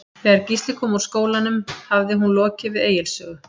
Þegar Gísli kom úr skólanum hafði hún lokið við Egils sögu.